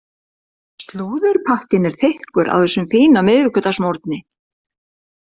Slúðurpakkinn er þykkur á þessum fína miðvikudagsmorgni.